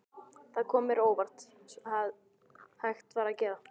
Það kom mér á óvart hvað hægt var að gera.